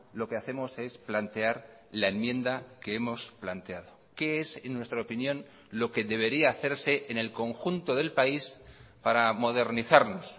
lo que hacemos es plantear la enmienda que hemos planteado que es en nuestra opinión lo que debería hacerse en el conjunto del país para modernizarnos